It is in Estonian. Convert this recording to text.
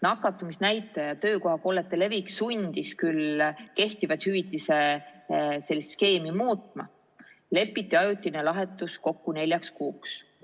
Nakatumisnäitaja ja töökohakollete levik sundis küll kehtivat hüvitise skeemi muutma, lepiti ajutine lahendus kokku neljaks kuuks.